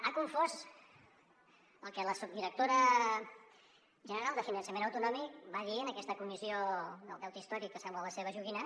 ha confós el que la subdirectora general de finançament autonòmic va dir en aquesta comissió del deute històric que sembla la seva joguina